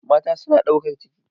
Mata suna ɗaukar ciki.